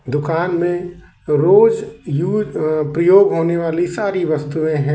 दुकान में रोज यूस प्रयोग होने वाली सारी वस्तुएं हैं।